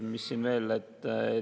Mis siin veel on?